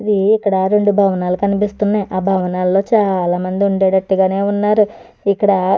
ఊఉ ఇక్కడ రెండు భవనాలు కనిపిస్తున్నాయి ఆ భవనాల్లో చాలా మంది ఉండేటట్టుగానే ఉన్నారు ఇక్కడ.